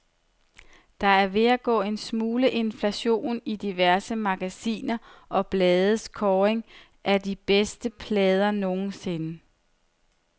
Der er ved at gå en smule inflation i diverse magasiner og blades kåringer af de bedste plader nogensinde.